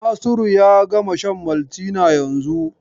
Nasiru ya gama shan Maltina yanzun.